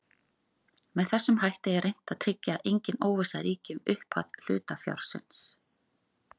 Með þessum hætti er reynt að tryggja að engin óvissa ríki um upphæð hlutafjárins.